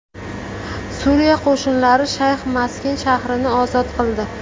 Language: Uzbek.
Suriya qo‘shinlari Shayx Maskin shahrini ozod qildi.